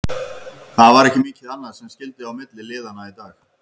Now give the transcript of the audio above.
Það var ekki mikið annað sem skyldi á milli liðanna í dag.